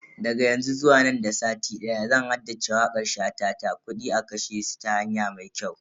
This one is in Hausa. Daga yanzu zuwa nan da sati daya zan haddace wakar shata ta "Kudi a kashe su ta hanya mai kyau"